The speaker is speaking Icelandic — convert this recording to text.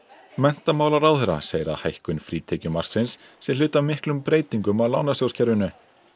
menntamálaráðherra segir að hækkun frítekjumarksins sé hluti af miklum breytingum á lánasjóðskerfinu